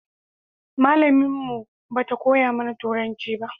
Malamin mu ba ta koya mana turanci ba